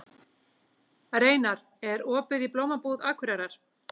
Reynar, er opið í Blómabúð Akureyrar?